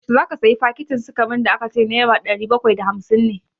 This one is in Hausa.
Yaushe za ka sayi fakitin sikarin da ka ce nera ɗari bakwai da hamsin ne?